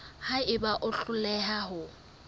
ha eba o hloleha ho